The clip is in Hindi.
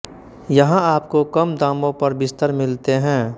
यहाँ आपको कम दामों पर बिस्तर मिलते हैं